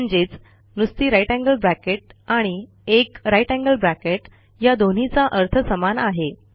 म्हणजेच नुसती जीटी आणि 1 जीटी या दोन्हीचा अर्थ समान आहे